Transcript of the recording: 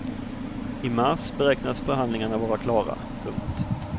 I mars beräknas förhandlingarna vara klara. punkt